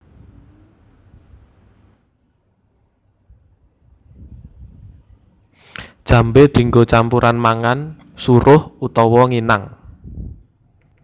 Jambé dienggo campuran mangan suruh utawa nginang